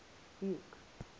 buke